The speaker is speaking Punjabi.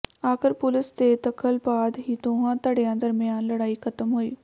ਆਖਰ ਪੁਲਿਸ ਦੇ ਦਖਲ ਬਾਅਦ ਹੀ ਦੋਵਾਂ ਧੜਿਆਂ ਦਰਮਿਆਨ ਲੜਾਈ ਖਤਮ ਹੋਈ